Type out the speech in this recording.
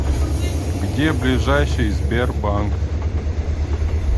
где ближайший сбербанк